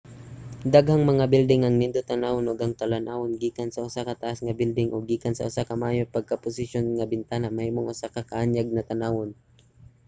daghang mga bilding ang nindot tan-awon ug ang talan-awon gikan sa usa ka taas nga bilding o gikan sa usa ka maayo pagkaposisyon nga bintana mahimong usa ka kaanyag tan-awon